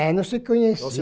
É, não se conhecia.